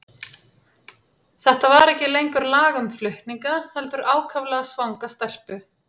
Þetta var ekki lengur lag um flutninga, heldur ákaflega svanga stelpu.